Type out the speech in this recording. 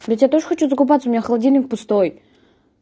ведь я тоже хочу закупаться у меня холодильник пустой